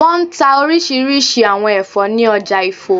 Wọ́n n ta orísirísi àwọn ẹ̀fọ́ ní ọjà Ifo